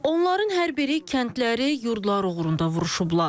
Onların hər biri kəndləri, yurdları uğrunda vuruşublar.